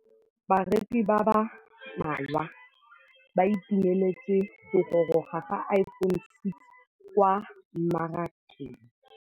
Bareki ba ba malwa ba ituemeletse go gôrôga ga Iphone6 kwa mmarakeng.